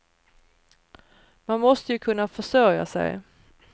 Man måste ju kunna försörja sig.